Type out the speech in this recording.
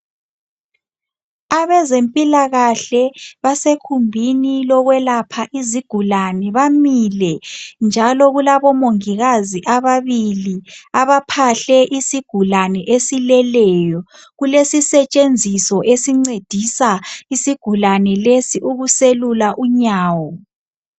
Abezempilakahle basegumbini lokwelapha izigulane. Bamile njalo kulabomongikazi ababili abaphahle isigulane esileleyo. Kulesisetshenziso esincedisa isigulane lesi ukuselula unyawo.